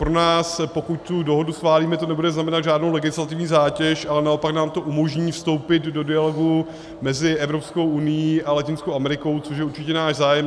Pro nás, pokud tu dohodu schválíme, to nebude znamenat žádnou legislativní zátěž, ale naopak nám to umožní vstoupit do dialogu mezi EU a Latinskou Amerikou, což je určitě náš zájem.